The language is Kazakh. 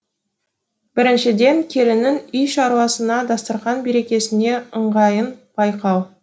біріншіден келіннің үй шаруасына дастарқан берекесіне ыңғайын байқау